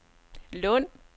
Lund